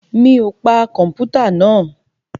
Mi ò pa kọ̀mpútà náà?